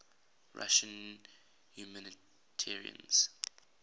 russian humanitarians